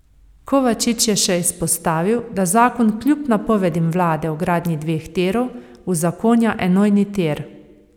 Kovačič je še izpostavil, da zakon kljub napovedim vlade o gradnji dveh tirov, uzakonja enojni tir.